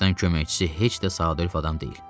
Kapitan köməkçisi heç də sadəlöv adam deyil.